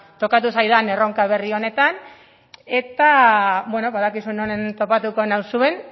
tokatu zaidan erronka berri honetan eta badakizue non topatuko nauzuen